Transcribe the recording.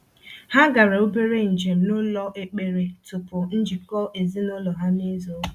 Ha gara obere njem n’ụlọ ekpere tupu njikọ ezinụlọ ha n’izu ụka.